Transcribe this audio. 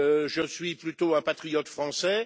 Je suis plutôt un patriote français.